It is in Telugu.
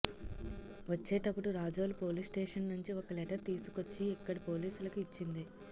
వచ్చేటప్పుడు రాజోలు పోలీస్స్టేషన్ నుంచి ఒక లెటర్ తీసుకొచ్చి ఇక్కడి పోలీసులకు ఇచ్చింది